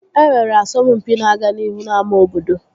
E nwere asọmpi na-aga n'ihu n'ámá obodo